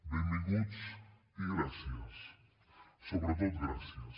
benvinguts i gràcies sobretot gràcies